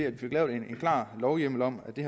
at få lavet en klar lovhjemmel om